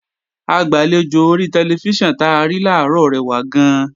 Agbàlejò ori tẹlifíṣàn ta rí làárọ̀ rẹwà gan-an